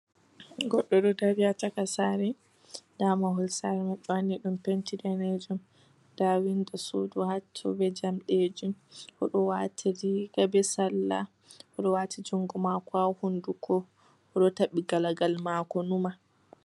Goɗɗo ɗo dari ha chaka sare, nda mahol sare man ɓe wani ɗum penti danejum, nda windo sudu ha to ɓe jamɗe ji, oɗo wati riga be sala, oɗo wati jungo mako ha hunduko, oɗo taɓi galagal mako numa.